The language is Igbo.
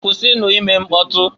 Kwusinu ime mkpọtụ!